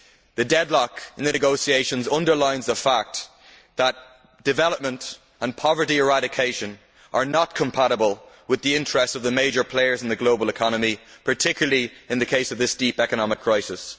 The deadlock in the negotiations underlines the fact that development and poverty eradication are not compatible with the interests of the major players in the global economy, particularly in the case of this deep economic crisis.